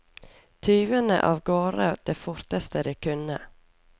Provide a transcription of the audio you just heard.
Tyvene av gårde det forteste de kunne.